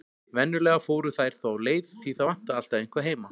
Venjulega fóru þær þá leið, því það vantaði alltaf eitthvað heima.